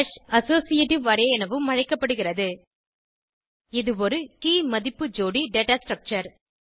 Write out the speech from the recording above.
associative array எனவும் அழைக்கப்படுகிறது இது ஒரு கே மதிப்பு ஜோடி டேட்டா ஸ்ட்ரக்சர்